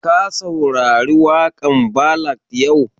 Ka saurari waƙan ballad yau?